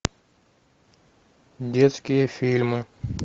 детские фильмы